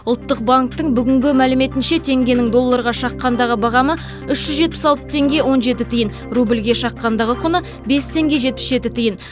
ұлттық банктің бүгінгі мәліметінше теңгенің долларға шаққандағы бағамы үш жүз жетпіс алты теңге он жеті тиын рубльге шаққандағы құны бес теңге жетпіс жеті тиын